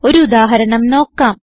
ഒരു ഉദാഹരണം നോക്കാം